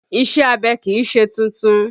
Ìṣe abẹ kì í ṣe tuntun